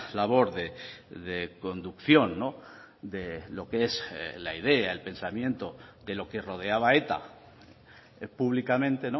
labor de conducción de lo que es la idea el pensamiento de lo que rodeaba a eta públicamente